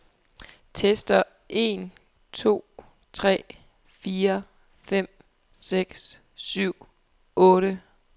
Tester en to tre fire fem seks syv otte.